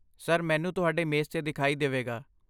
Sir, menu ਤੁਹਾਡੇ ਮੇਜ਼ 'ਤੇ ਦਿਖਾਈ ਦੇਵੇਗਾ।